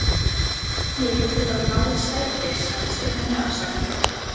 Ég vildi bara ná í sæti sagði Stjáni afsakandi.